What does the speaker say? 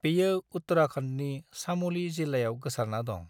बेयो उत्तराखंडनि चाम'ली जिल्लायाव गोसारना दं।